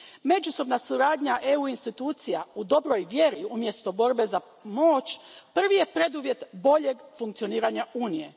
Međusobna suradnja EU institucija u dobroj vjeri, umjesto borbe za moć, prvi je preduvjet boljeg funkcioniranja Unije.